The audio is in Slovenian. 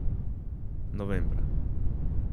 Novembra.